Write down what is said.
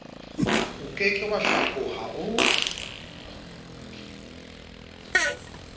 oke ke wa hlakoha o